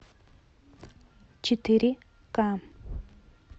четыре ка